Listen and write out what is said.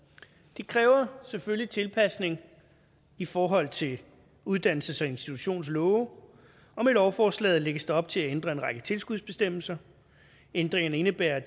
det kræver selvfølgelig tilpasning i forhold til uddannelses og institutionslove og med lovforslaget lægges der op til at ændre en række tilskudsbestemmelser ændringerne indebærer at